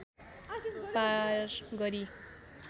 पार गरी